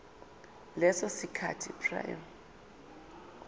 leso sikhathi prior